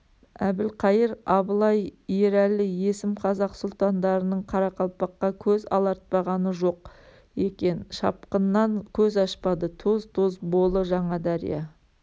әбілқайыр абылай ерәлі есім-қазақ сұлтандарының қарақалпаққа көз алартпағаны жоқ екен шапқыннан көз ашпады тоз-тоз болы жаңадария